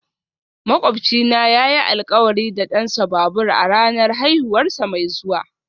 Makwabcina yayi alkawari da dansa babur a ranar haihuwarsa mai zuwa